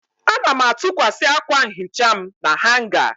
Ana m atụkwasị akwa nhicha m na hanga.